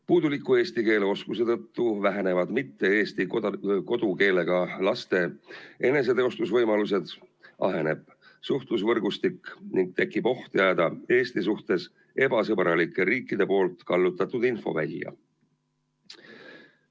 Puuduliku eesti keele oskuse tõttu vähenevad mitte-eesti kodukeelega laste eneseteostusvõimalused, aheneb suhtlusvõrgustik ning tekib oht jääda Eesti suhtes ebasõbralike riikide poolt kallutatud infovälja.